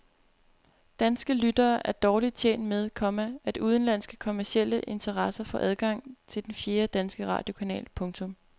Danske lyttere er dårligt tjent med, komma at udenlandske kommercielle interesser får adgang til den fjerde danske radiokanal. punktum